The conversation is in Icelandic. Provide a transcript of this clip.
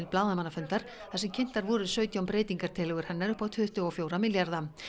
blaðamannafundar þar sem kynntar voru sautján breytingartillögur hennar upp á tuttugu og fjóra milljarða